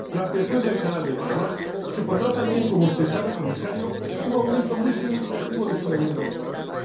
La ampliación del Canal de Panamá supondrá también —como usted sabe, Comisario— un aumento muy significativo de su volumen de fletamento.